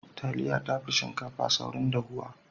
Taliya tafi shinkafa saurin dahuwa.